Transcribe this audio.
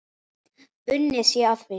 Unnið sé að því.